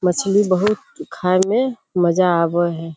मछली बहोत खाये में मजा आवे है।